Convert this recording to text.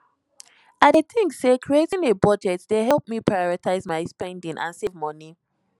i dey think say creating a budget dey help me prioritize my spending and save monie